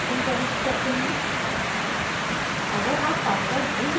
अब हम security question प्रविष्ट करते हैं